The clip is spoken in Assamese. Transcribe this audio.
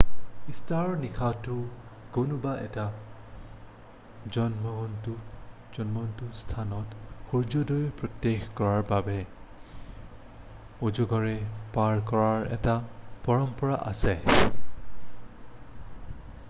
ইষ্টাৰৰ নিশাটো কোনোবা এটা উন্মূক্ত স্থানত সুৰ্যোদয় প্ৰত্যক্ষ কৰাৰ বাবে উজাগৰে পাৰ কৰাৰ এটা পৰম্পৰা আছে